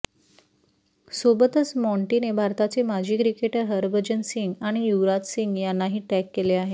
सोबतच माँटीने भारताचे माजी क्रिकेटर हरभजन सिंग आणि युवराज सिंग यांनाही टॅग केले आहे